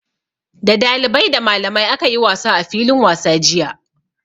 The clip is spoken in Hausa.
Da dalibai, da malamai aka yi wasa a filin wasa jiya.